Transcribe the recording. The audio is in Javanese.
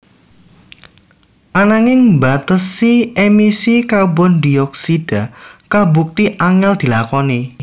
Ananging mbatesi emisi karbon dioksida kabukti angèl dilakoni